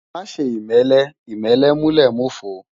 Má ṣè imèlè imèlè mú lè mófó